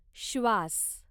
श्वास